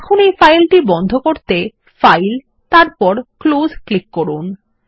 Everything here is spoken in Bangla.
এখন এই ফাইল বন্ধ করতে ফাইল তারপর ক্লোজ ক্লিক করুন